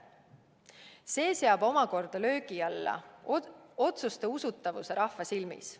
See seab omakorda löögi alla otsuste usutavuse rahva silmis.